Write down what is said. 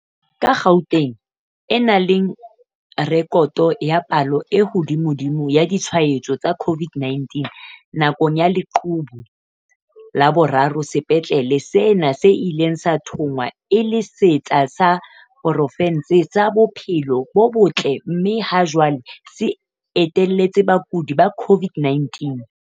Ka Gauteng e nang le rekoto ya palo e hodimodimo ya ditshwa etso tsa COVID-19 nakong ya leqhubu la boraro, sepetlele sena se ile sa thongwa e le setsi sa pro fense sa bophelo bo botle mme ha jwale se iteletse bakudi ba COVID-19.